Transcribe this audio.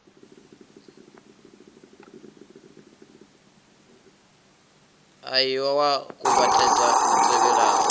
ie wa kuvhatedza li tevhelaho